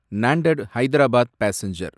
Nanded Hyderabad passenger